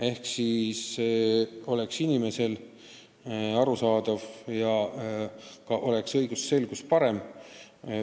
Seda seepärast, et asi oleks inimestele arusaadav ja õigusselgus parem.